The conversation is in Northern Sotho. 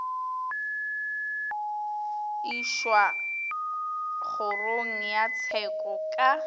išwa kgorong ya tsheko ka